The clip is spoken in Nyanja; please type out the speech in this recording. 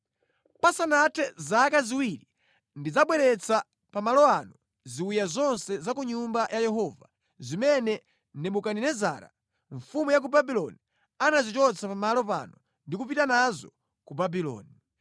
Pasanathe zaka ziwiri ndidzabweretsa pa malo ano ziwiya zonse za ku Nyumba ya Yehova zimene Nebukadinezara mfumu ya ku Babuloni anazichotsa pa malo pano ndi kupita nazo ku Babuloni.